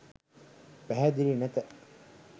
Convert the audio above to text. පැහැදිලි නැත.